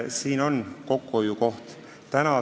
Siin on kokkuhoiukoht.